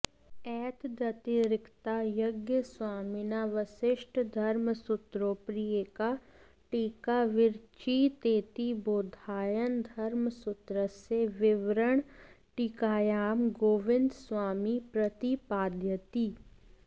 एतदतिरिक्ता यज्ञस्वामिना वसिष्ठधर्मसूत्रोपरि एका टीका विरचितेति बौधायनधर्मसूत्रस्य विवरणटीकायां गोविन्दस्वामी प्रतिपादयति